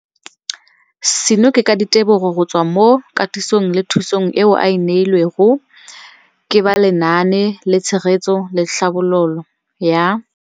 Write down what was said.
Seno ke ka ditebogo go tswa mo katisong le thu song eo a e neilweng ke ba Lenaane la Tshegetso le Tlhabololo ya